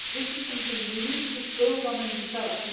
This is something we need to build on and develop.